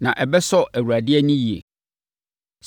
Na ɛbɛsɔ Awurade ani yie.